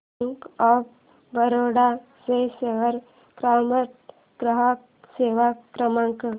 bank of Baroda चा share market ग्राहक सेवा क्रमांक